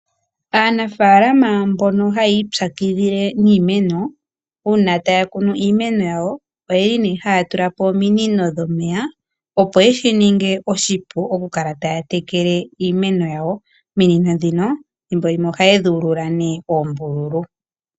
Aanafalama mbono hayi ipyakidhile niimeno uuna taya kunu iimeno yawo, oyeli nee haya tula po ominino dhomeya opo yeshi ninge oshipu okukala taya tekele iimeno yawo. Ominino dhino thimbolimwe ohaye dhi ulula nee oombululu.